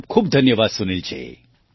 ખૂબ ખૂબ ધન્યવાદ સુનિલજી